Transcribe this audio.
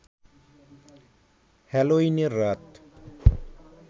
হ্যালোইনের রাত